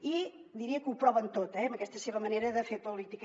i diria que ho proven tot eh amb aquesta seva manera de fer política